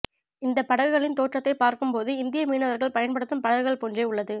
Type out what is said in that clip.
இந்த படகுகளின் தோற்றத்தை பார்க்கும்போது இந்திய மீனவர்கள் பயன் படுத்தும் படகுகள் போன்றே உள்ளது